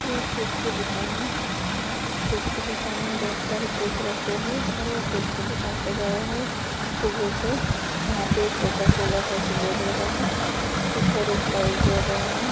यह एक केक की दुकान है उस केक की दुकान में बहुत सारे केक रखे हैं और वो केक की दुकान सजाया है फूगो से वहाँ पे कोका कोला का ऐसे बोर्ड लगा है ऊपर एक लाइट जल रहा है।